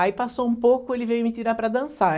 Aí passou um pouco, ele veio me tirar para dançar.